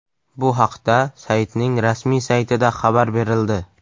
Bu haqda saytning rasmiy saytida xabar berildi .